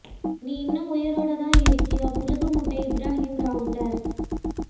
நீ இன்னும் உயிரோட தான் இருக்கியா புளுகு மூட்டை இப்ராகிம் ராவுத்தர்